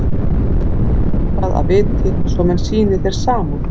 Reyndu að gera eitthvað að viti, svo menn sýni þér samúð.